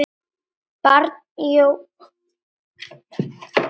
Barn: Jón Arnar.